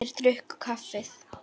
Þeir drukku kaffið.